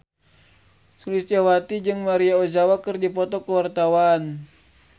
Sulistyowati jeung Maria Ozawa keur dipoto ku wartawan